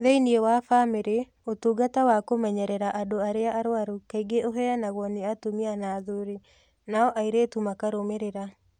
Thĩinĩ wa bamĩrĩ, ũtungata wa kũmenyerera andũ arĩa arwaru kaingĩ ũheanagwo nĩ atumia na athuuri, nao airĩtu makarũmĩrĩra.